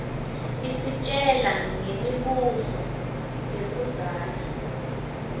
isitjela ngemi buso yakuidzala